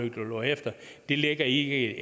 lå herefter det ligger ikke